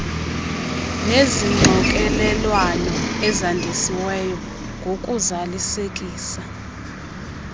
nezixokelelwano ezandisiweyo ngokuzalisekisa